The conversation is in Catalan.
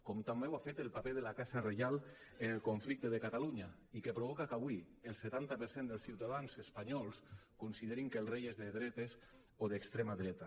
com també ho ha fet el paper de la casa reial en el conflicte de catalunya i que provoca que avui el setanta per cent dels ciutadans espanyols considerin que el rei és de dretes o d’extrema dreta